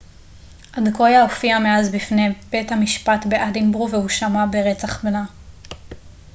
אדקויה הופיעה מאז בפני בית המשפט באדינבורו והואשמה ברצח בנה